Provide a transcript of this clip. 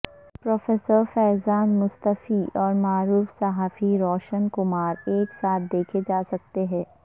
professor Faizan Mustafa اور معروف صحافی روش کمار ایک ساتھ دیکھے جاسکتے ہیں